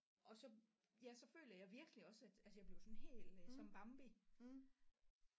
Og så ja så føler jeg virkelig også at altså jeg bliver jo sådan helt som Bambi